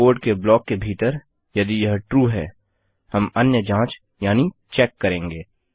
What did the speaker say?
और कोड के ब्लॉक के भीतर - यदि यह ट्रू है हम अन्य जाँच यानि चेक करेंगे